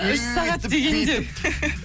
үш сағат дегенде